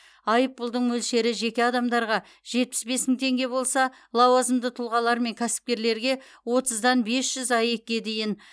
айыппұлдың мөлшері жеке адамдарға жетпіс бес мың теңге болса лауазымды тұлғалар мен кәсіпкерлерге отыздан бес жүз аек ке дейін